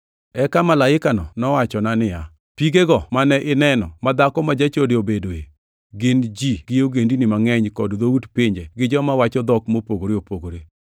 Eka malaikano nowachona niya, “Pigego mane ineno ma dhako ma jachode obedoe, gin ji gi ogendini mangʼeny kod dhout pinje gi joma wacho dhok mopogore opogore.